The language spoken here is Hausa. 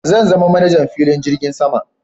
Zan zama manajan filin jirgin sama